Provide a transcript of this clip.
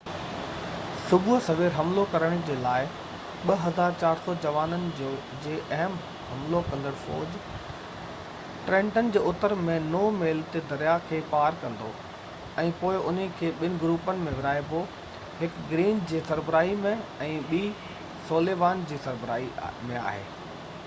صبح سوير حملو ڪرڻ جي لاءِ 2،400 جوانن جي اهم حملو ڪندڙ فوج ٽرينٽن جي اتر ۾ نو ميل تي دريا کي پار ڪندي، ۽ پوءِ انهن کي ٻن گروپن ۾ ورهائبو، هڪ گرين جي سربراهي ۾۽ ٻي سوليوان جي سربراهي ۾